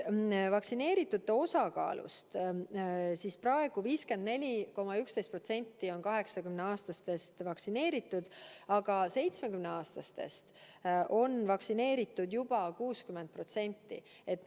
Praegu on 54,11% üle 80-aastastest vaktsineeritud, üle 70-aastastest on vaktsineeritud juba 60%.